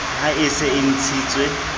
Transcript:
ha e se e ntshitswe